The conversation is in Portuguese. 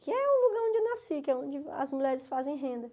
Que é o lugar onde eu nasci, que é onde as mulheres fazem renda.